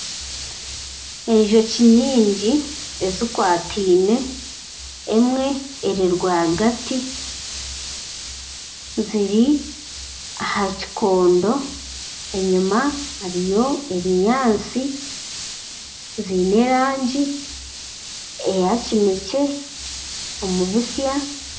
Enjoki nyingi ezikwataine, emwe eri rwagati. Ziri aha kikondo enyima hariyo ebinyaatsi ziine erangi eya kinekye omu bitsya.